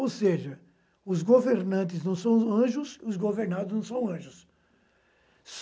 Ou seja, os governantes não são anjos e os governados não são anjos.